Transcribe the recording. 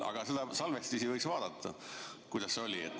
Aga salvestisi võiks vaadata, et kuidas see oli.